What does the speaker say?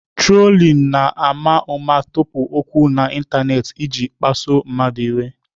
Trolling na-ama ụma tụpụ okwu n'ịntanetị iji kpasuo mmadụ iwe.